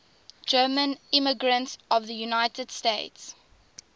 german immigrants to the united states